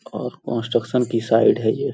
और कंस्ट्रक्शन की साइड है यह।